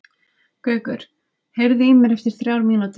Gaukur, heyrðu í mér eftir þrjár mínútur.